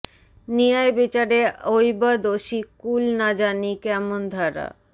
নিয়ায় বিচারে অইবা দোষী কুল না জানি কেমন ধারা